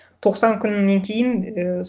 тоқсан күннен кейін ыыы